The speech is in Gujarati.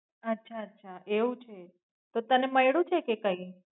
અચ્છા અચ્છા એવું છે તો તને મઈળુ છે કે કઈ?